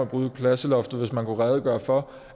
bryde klasseloftet hvis man kan redegøre for